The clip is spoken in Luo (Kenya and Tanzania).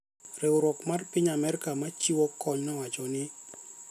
riwruok mar piny Amerka ma chiwo kony nowacho ni